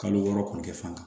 Kalo wɔɔrɔ kɔni kɛ fan